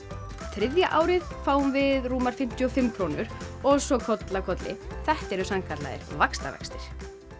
þriðja árið fáum við rúmar fimmtíu og fimm krónur og svo koll af kolli þetta eru sannkallaðir vaxtavextir